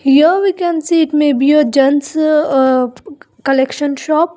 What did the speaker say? Here we can see it may be a gents uh collection shop.